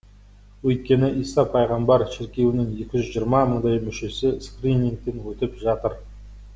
өйткені иса пайғамбар шіркеуінің екі жүз жиырма мыңдай мүшесі скринингтен өтіп жатыр